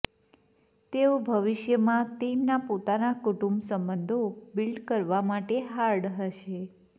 તેઓ ભવિષ્યમાં તેમના પોતાના કુટુંબ સંબંધો બિલ્ડ કરવા માટે હાર્ડ હશે